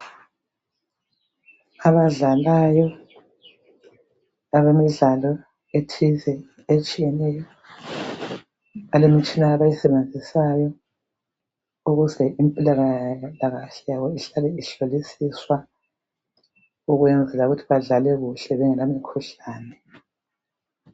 Abadlalayo, abemidlalo ethize etshiyeneyo. Balemitshina yabo abayisebenzisayo. Ukuze impilakahle yabo, ihlale ihlolisiswa. Ukuze badlale kuhle, bengelamikhuhlane.